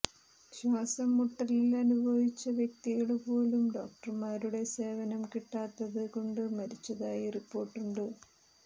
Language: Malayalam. ശ്വാസം മുട്ടലനുഭവിച്ച വ്യക്തികള് പോലും ഡോക്ടര്മാരുടെ സേവനം കിട്ടാത്തത് കൊണ്ട് മരിച്ചതായി റിപ്പോര്ട്ടുണ്ട്